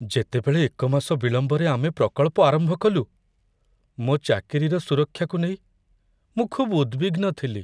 ଯେତେବେଳେ ଏକ ମାସ ବିଳମ୍ବରେ ଆମେ ପ୍ରକଳ୍ପ ଆରମ୍ଭ କଲୁ, ମୋ ଚାକିରିର ସୁରକ୍ଷାକୁ ନେଇ ମୁଁ ଖୁବ୍ ଉଦ୍‌ବିଗ୍ନ ଥିଲି।